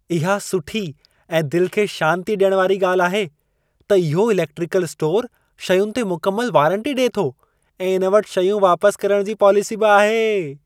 इहा सुठी ऐं दिलि खे शांती ॾियण वारी ॻाल्हि आहे त इहो इलेक्ट्रिकल स्टोर शयुनि ते मुकमल वारंटी ॾिए थो ऐं इन वटि शयूं वापस करण जी पॉलिसी बि आहे।